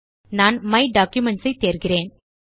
நான் my documents ஐ தேர்கிறேன்